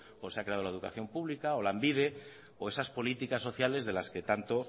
como se ha creado la educación pública o lanbide o esas políticas sociales de las que tanto